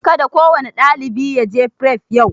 Ka da kowane ɗalibi ya je fref yau!